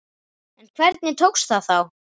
En hvernig tókst það þá?